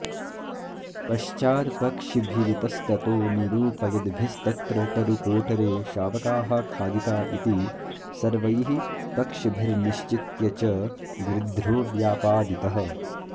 पश्चात्पक्षिभिरितस्ततो निरूपयद्भिस्तत्र तरुकोटरे शावकाः खादिता इति सर्वैः पक्षिभिर्निश्चित्य च गृध्रो व्यापादितः